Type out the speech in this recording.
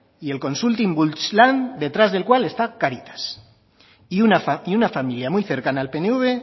y el consulting bultz lan detrás del cual está cáritas y una familia muy cercana al pnv